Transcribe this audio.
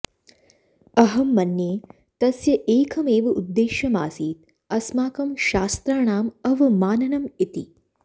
अहं मन्ये तस्य एकम् एव उद्देश्यम् आसीत् अस्माकं शास्त्राणां अवमाननम् इति